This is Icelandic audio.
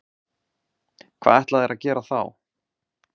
Hvað ætla þeir að gera þá?